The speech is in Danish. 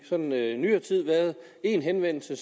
sådan i nyere tid været en henvendelse